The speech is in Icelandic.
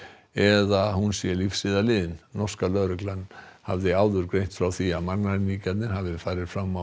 eða að hún sé lífs eða liðin norska lögreglan hafði áður greint frá því að mannræningjarnir hafi farið fram á